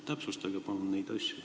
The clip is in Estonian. Täpsustage palun neid asju!